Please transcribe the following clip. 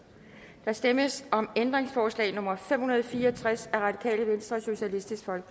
der stemmes om ændringsforslag nummer fem hundrede og fire og tres